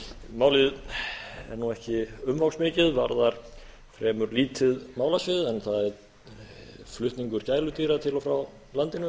málið er nú ekki umfangsmikið varðar fremur lítið málasvið en það er flutningur gæludýra til og frá landinu